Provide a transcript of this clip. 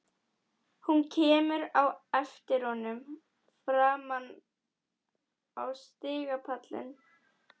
Hún kemur á eftir honum fram á stigapallinn.